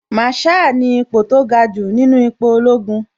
Màrsháà ni ipo tó ga jù nínú ipò ológun